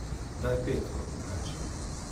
Daj petko, rečejo.